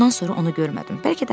Bundan sonra onu görmədim.